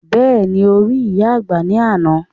Bẹ́ẹ̀ni, o rí ìyá àgbà ní àná